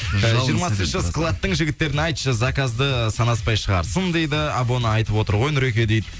жиырмасыншы складтың жігіттеріне айтшы заказды санаспай шығарсын дейді абона айтып отыр ғой нұреке дейді